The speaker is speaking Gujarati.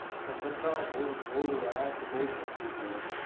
કોલકતામાં બઉ બઉ અહીંયા તો બઉ ઠંડી છે યાર.